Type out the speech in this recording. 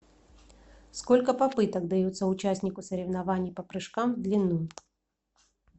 сколько попыток дается участнику соревнований по прыжкам в длину